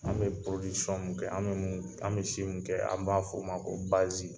An bɛ podisɔn mun kɛ , an bɛ si min kɛ , an b'a f'o ma ko bazi